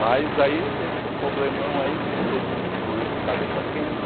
Mas aí teve esse problemão aí que todo mundo ficou de cabeça quente.